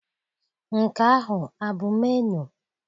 Nke ahụ a bụ menuu?